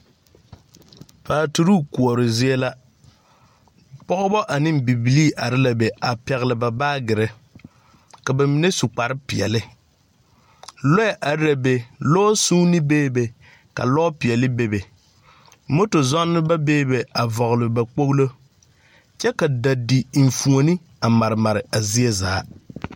Paaturuu kuori zie la, pɔgbɔ aneŋ bibilii are la be a pɛgele ba baagere, ka ba mine su kparepeɛle. Lɔɛ are la be. Lɔsunni bebe ka lɔpeɛle bebe. Moto zɔŋneba beebe a vɔgle ba kpoglo, kyɛ ka dadi enfuoni a a mare mare a zie zaa.